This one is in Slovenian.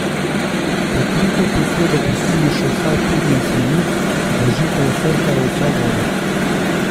Pokrito posodo pustimo še vsaj petnajst minut, da žita vsrkajo vso vodo.